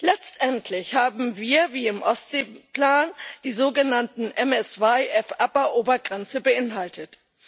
Letztendlich haben wir wie im Ostseeplan die sogenannten MSY Fupper Obergrenze beinhaltet.